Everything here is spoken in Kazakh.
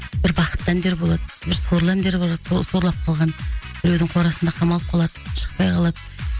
бір бақытты әндер болады бір сорлы әндер болады сол сорлап қалған біреудің қорасында қамалып қалады шықпай қалады